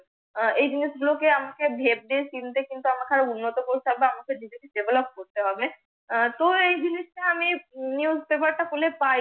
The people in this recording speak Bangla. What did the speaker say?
এ জিনিস গুলো কে আমাকে BEHAVE দিয়ে চিন্তা কিন্তু আমাকে আরো উন্নত করতে হবে, আমাকে নিজেকে DEVELOP করতে হবে। তো এ জিনিসটা আমি NEWSPAPER টা পড়লে পাই।